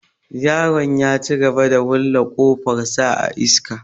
Yaron ya cigaba da wulla ƙafar sa a iska.